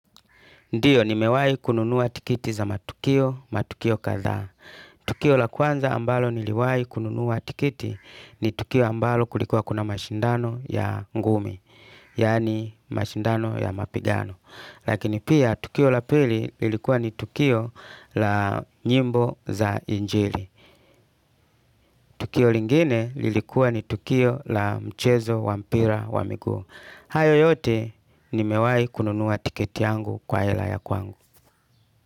Ndiyo, ni mewai kununuwa tikiti za matukio, matukio kadhaa. Tukio la kwanza ambalo niliwai kununuwa tikiti ni tukio ambalo kulikuwa kuna mashindano ya ngumi. Yaani mashindano ya mapigano. Lakini pia, tukio la pili lilikuwa ni tukio la nyimbo za injili. Tukio lingine lilikuwa ni tukio la mchezo wa mpira wa miguu. Hayo yote, ni mewai kununuwa tikiti yangu kwa ela ya kwangu.